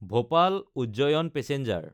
Bhopal-Ujjain passenger